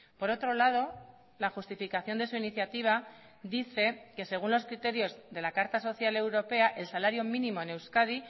por otro lado la justificación de su iniciativa dice que según los criterios de la carta social europea el salario mínimo en euskadi